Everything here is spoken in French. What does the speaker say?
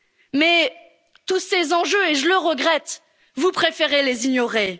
demain. Mais tous ces enjeux, et je le regrette, vous préférez